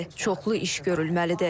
Çoxlu iş görülməlidir.